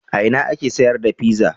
A ina ake sayar da pizza?